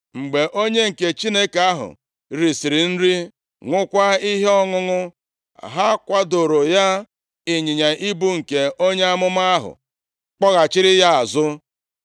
Mgbe onye nke Chineke ahụ risiri nri, ṅụọkwa ihe ọṅụṅụ, ha kwadooro ya ịnyịnya ibu nke onye amụma ahụ kpọghachiri ya azụ.